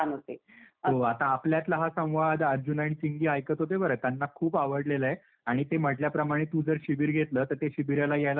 हो आता आपल्यातला हाच संवाद अर्जुन आणि चिंगी ऐकत होते बर, त्यांना खूप अवडलेलं आहे. आणि ते म्हटल्याप्रमाणे तू जर शिबिर घेतलं तर ते शिबिराला यायला नक्की तयार आहेत.